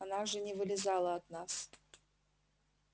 она же не вылезала от нас